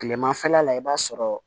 Kilemafɛla la i b'a sɔrɔ